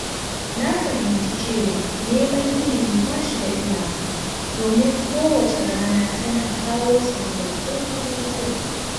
Na fahimci cewa neman ilimi ba shi da iyaka, domin kowace rana tana kawo sababbin abubuwa.